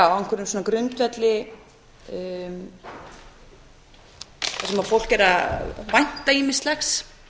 já á einhverjum svona grundvelli þar sem fólk er að vænta ýmislegs